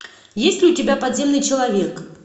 есть ли у тебя подземный человек